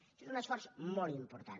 això és un esforç molt important